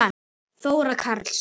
Þóra Karls.